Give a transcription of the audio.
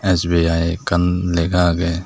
sibeh hai ekkan lega ageh.